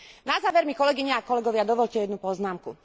Na záver mi, kolegyne a kolegovia, dovoľte jednu poznámku.